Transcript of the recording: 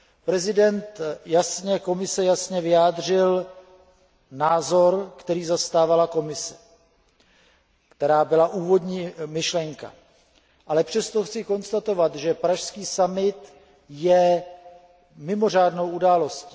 Předseda Komise jasně vyjádřil názor, který zastávala Komise, a to, co bylo úvodní myšlenkou. Ale přesto chci konstatovat, že pražský summit je mimořádnou událostí.